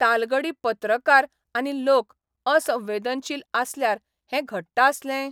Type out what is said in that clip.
तालगडी पत्रकार आनी लोक असंवेदनशील आसल्यार हें घडटा आसलें?